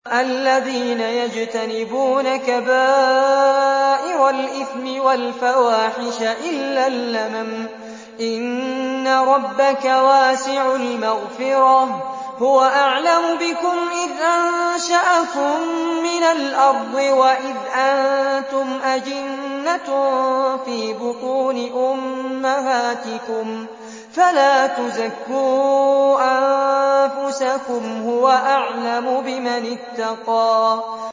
الَّذِينَ يَجْتَنِبُونَ كَبَائِرَ الْإِثْمِ وَالْفَوَاحِشَ إِلَّا اللَّمَمَ ۚ إِنَّ رَبَّكَ وَاسِعُ الْمَغْفِرَةِ ۚ هُوَ أَعْلَمُ بِكُمْ إِذْ أَنشَأَكُم مِّنَ الْأَرْضِ وَإِذْ أَنتُمْ أَجِنَّةٌ فِي بُطُونِ أُمَّهَاتِكُمْ ۖ فَلَا تُزَكُّوا أَنفُسَكُمْ ۖ هُوَ أَعْلَمُ بِمَنِ اتَّقَىٰ